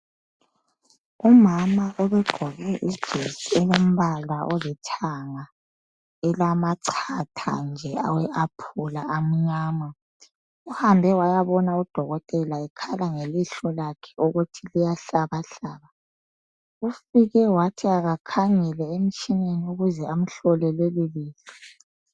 Umama ubegqoke ijesi elombala olithanga elamachatha nje awephula amnyama uhambe wayabona udokotela ekhala ngelihlo lakhe ukuthi liyahlabahlaba ufike wathi akakhangele emtshineni ukuze amhlole leli lihlo.